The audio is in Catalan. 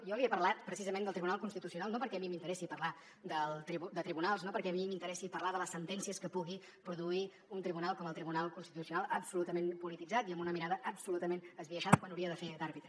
jo li he parlat precisament del tribunal constitucional no perquè a mi m’interessi parlar de tribunals no perquè a mi m’interessi parlar de les sentències que pugui produir un tribunal com el tribunal constitucional absolutament polititzat i amb una mirada absolutament esbiaixada quan hauria de fer d’àrbitre